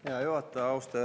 Hea juhataja!